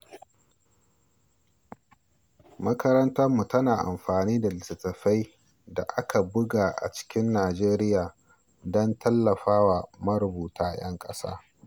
Makarantarmu tana amfani da littattafan da aka buga a cikin Najeriya don tallafawa marubuta ƴan ƙasa.